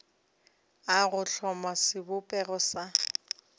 a go hloma sebopego sa